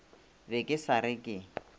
be ke sa re ke